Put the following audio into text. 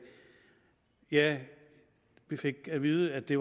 ja vi fik at vide at det